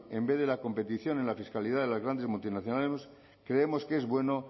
en vez de la competición en la fiscalidad de las grandes multinacionales creemos que es bueno